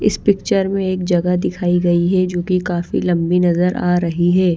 इस पिक्चर में एक जगह दिखाई गई है जो की काफी लंबी नजर आ रही है।